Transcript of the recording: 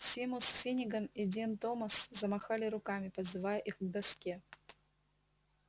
симус финниган и дин томас замахали руками подзывая их к доске